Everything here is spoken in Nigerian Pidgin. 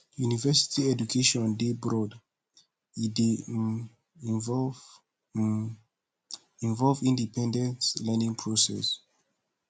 university education dey broad e dey um involve um involve independent learning process